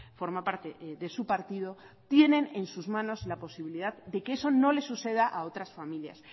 forma parte de su partido tienen en sus manos la posibilidad de que eso no les suceda a otras familias